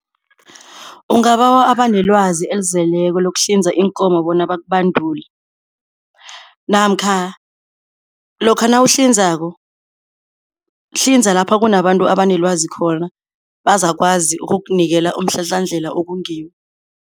Ungabawa abanelwazi elizeleko lokuhlinza iinkomo bona bakubandule namkha lokha nawuhlinzako, hlinza lapha kunabantu abanelwazi khona, bazakwazi ukukunikela umhlahlandlela okungiwo.